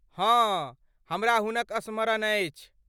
हँ, हमरा हुनक स्मरण अछि।